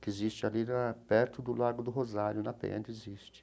que existe ali na, perto do lado do Rosário, na Penha, existe.